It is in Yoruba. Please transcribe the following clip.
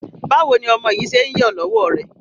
Báwo ni ọmọ yìí ṣe ń yọ lọ́wọ́ rẹ?